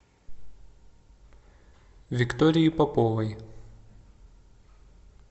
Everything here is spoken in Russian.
виктории поповой